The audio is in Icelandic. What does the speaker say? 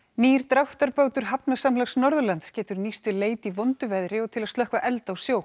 nýr dráttarbátur Hafnasamlags Norðurlands getur nýst við leit í vondu veðri og til að slökkva eld á sjó